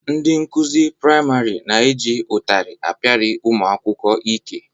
Ndị nkụzi priamarị na-eji ụtarị apiali ụmụ akwụkwọ ike.